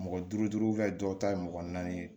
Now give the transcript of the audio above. Mɔgɔ duuru dɔw ta ye mɔgɔ naani ye